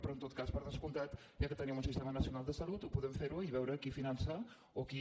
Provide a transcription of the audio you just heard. però en tot cas per descomptat ja que tenim un sistema nacional de salut podem fer ho i veure qui finança o qui